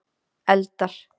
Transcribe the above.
eldar